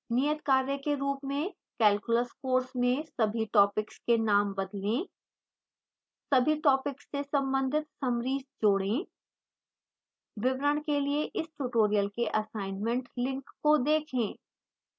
नियतकार्य के रूप में